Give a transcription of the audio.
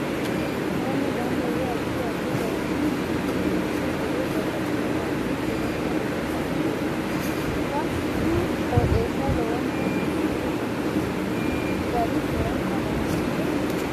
Mannu ganba yee addi addi garini budu uduune uddire babbaxino garinni budensa leelishani leelanno insa noo qooxeesa lowonta biifinse loonsooni gari lowonta danchate